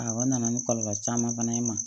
Awɔ n nana ni kɔlɔlɔ caman fana ye n ma